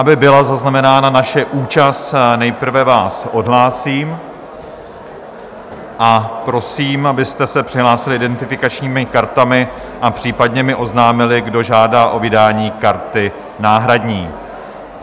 Aby byla zaznamenána naše účast, nejprve vás odhlásím a prosím, abyste se přihlásili identifikačními kartami a případně mi oznámili, kdo žádá o vydání karty náhradní.